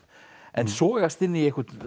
en sogast inn í einhvern